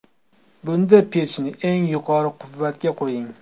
Bunda pechni eng yuqori quvvatga qo‘ying.